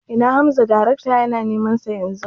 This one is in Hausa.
Ina Hamza darekta yana neman sa Yanzu